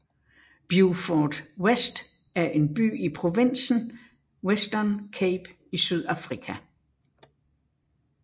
Beaufort West er en by i provinsen Western Cape i Sydafrika